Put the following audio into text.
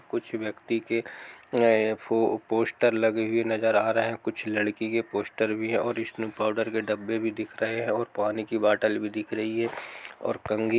कुछ व्यक्ति के ए फ़ो पोस्टर लगे हुए नजर आ रहे हैं। कुछ लड़की के पोस्टर भी हैं और इसमें पाउडर के डब्बे भी दिख रहे हैं और पानी की बाटल भी दिख रही है और कंगी --